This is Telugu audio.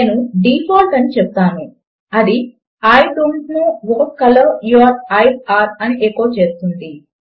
నేను డీఫాల్ట్ అని చెపుతాను అది I don't know what colour your eyes are అని ఎకో చేస్తుంది